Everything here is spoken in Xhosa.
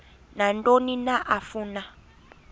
nantoni na afuna